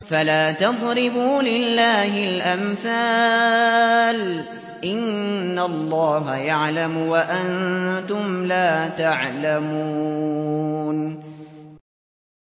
فَلَا تَضْرِبُوا لِلَّهِ الْأَمْثَالَ ۚ إِنَّ اللَّهَ يَعْلَمُ وَأَنتُمْ لَا تَعْلَمُونَ